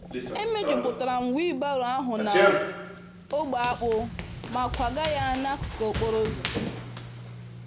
E mejupụtara m wheelbarrow ahụ na ogbe akpụ ma kwagaa ya n'akụkụ okporo ụzọ.